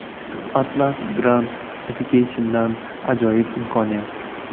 Atlas Grand Education’dan ajoyib imkoniyat!!!.